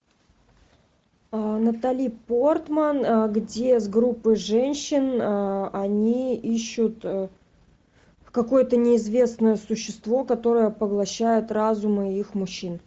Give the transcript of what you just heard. натали портман где с группой женщин они ищут какое то неизвестное существо которое поглощает разумы их мужчин